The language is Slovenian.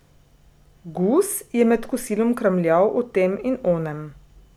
Gus je med kosilom kramljal o tem in onem.